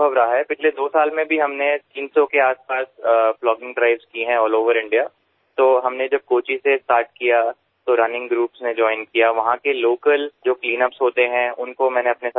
ગયાં બે વર્ષમાં પણ અમે 300 આસપાસ પ્લોગિંગ ડ્રાઇવ્સ સમગ્ર ભારતમાં કરી છે તો જ્યારે અમે કોચીથી શરૂઆત કરી તો દોડનારાં જૂથો જોડાયાં ત્યાંના જે સ્થાનિક સફાઇ કરવાવાળા હોય છે તેમને મેં સાથે જોડ્યા